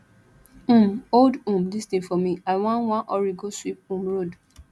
um hold um dis thing for me i wan wan hurry go sweep um road